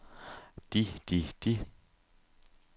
de de de